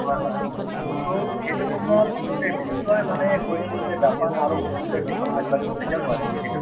হয় হয় to সেইটো সময়ত গোটেই বিশ্বই মানে কৈছিল যে জাপান আৰু উন্নতিৰ দিশত আগবাঢ়িব কেতিয়াও নোৱাৰিব কিন্তু